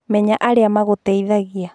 Menya arĩa magũteithagia